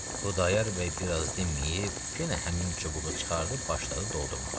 Xudayar bəy biraz dinməyib, yenə həmin çubuğu çıxardıb başladı doldurmağa.